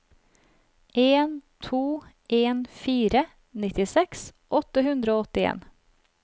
en to en fire nittiseks åtte hundre og åttien